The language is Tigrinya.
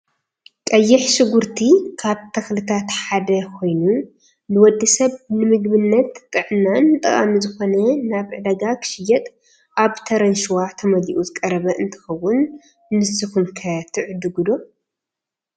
ቀይሕ ሽጉርቲ ካብ ተክልታት ሓደ ኮይኑ ንወዲ ሰብ ንምግብነትን ጥዕናን ጠቃሚ ዝኮነ ናብ ዕዳጋ ክሽየጥ ኣብ ተረንሸዋ ተመሊኡ ዝቀረበ እንትከውን ንስኩም ከ ትዕድጉ ዶ?